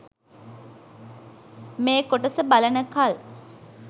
මේ කොටස බලනකල්